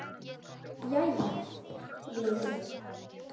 Jæja, vinur minn.